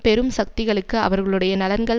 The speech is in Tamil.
பெரும் சக்திகளுக்கு அவர்களுடைய நலன்கள்